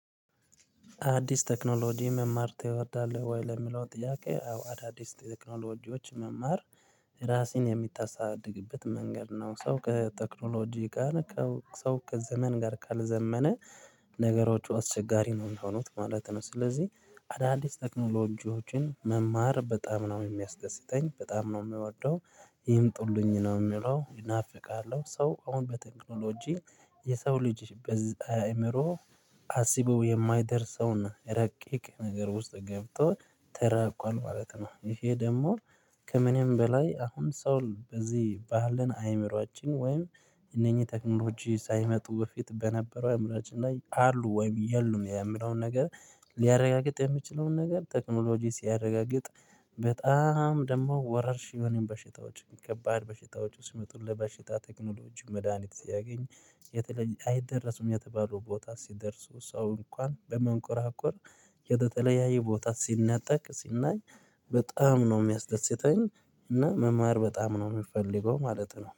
አዲስ ቴክኖሎጂ መማር ትወዳለህ ወይ? ለሚለው ጥያቄ፥ አዎ አዳዲስ ቴክኖሎጂዎች መማር ራሴን የሚታሳድግበት መንገድ ነው። ሰው ከቴክኖሎጂ ጋር ሰው ከዘመን ጋር ካልዘመነ ነገሮች አስቸጋሪ ነው የሚሆኑት ማለት ነው። ስለዚህ አዳዲስ ቴክኖሎጂዎችን መማር በጣም ነው የሚያስደስተኝ። በጣም ነው የምወደው። ይምጡልኝ ነው የምለው። እናፍቃለሁ ሰው አሁን በቴክኖሎጂ የሰው ልጅ በዚህ አይምሮ አስበው የማይደርሰውን ረቂቅ ነገር ውስጥ ገብቶ ተራቋል ማለት ነው። ይሄ ደግሞ ከምንም በላይ አሁን ሰው በዚህ ባህልን አእምሮአችን ወይም እነኚህ ቴክኖሎጂ ሳይመጡ በፊት በነበረው አእምሮአችን ላይ አሉ ወይም የሉም የሚለውን ነገር ሊያረጋግጥ የሚችለውን ነገር ቴክኖሎጂ ሲያረጋግጥ በጣም ደግሞ ወረርሽኝ የሆኑ በሽታዎችን ከባድ በሽታዎች ሲመጡ ለበሽታ ቴክኖሎጂ መድሃኒት ሲያገኝ የተለየ አይደረሱም የተባለው ቦታ ሲደርሱ ሰው እንኳን በመንኮራኮር ወደ ተለያየ ቦታ ሲነጠቅ ሲናይ በጣም ነው የሚያስደስተኝ እና መማር በጣም ነው የምፈልገው ማለት ነው።